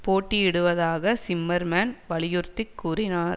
போட்டியிடுவதாக Zimmerman வலியுறுத்தி கூறினார்